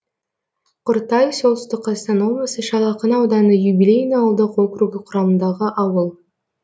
құртай солтүстік қазақстан облысы шал ақын ауданы юбилейный ауылдық округі құрамындағы ауыл